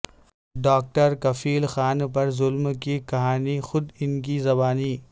doctor Kafeel Khan پر ظلم کی کہانی خود ان کی زبانی